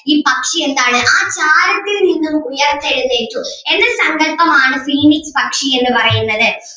ഈ പക്ഷി എന്താണ് ആ ചാരത്തിൽ നിന്നും ഉയർത്തെഴുന്നേറ്റു എന്ന സങ്കൽപം ആണ് phoenix പക്ഷി എന്ന് പറയുന്നത്.